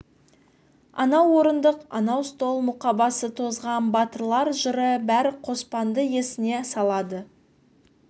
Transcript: анау орындық анау стол мұқабасы тозған батырлар жыры бәрі қоспанды есіне салады